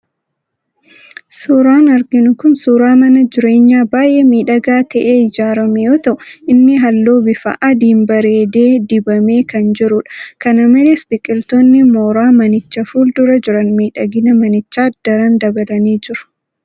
Suuraan arginu kun suuraa mana jireenyaa baay'ee miidhagaa ta'ee ijaaramee yoo ta'u inni halluu bifa adiin bareedee dibamee kan jirudha. Kana malees biqiltoonni mooraa manichaa fuul-dura jiran miidhagina manichaa daran dabalanii jiru.